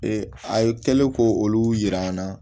a ye kɛlen ko olu jira an na